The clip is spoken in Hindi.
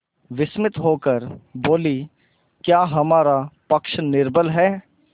विस्मित होकर बोलीक्या हमारा पक्ष निर्बल है